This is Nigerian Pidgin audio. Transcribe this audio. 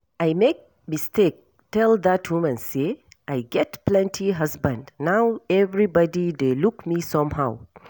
I make mistake tell dat woman say I get plenty husband now everybody dey look me somehow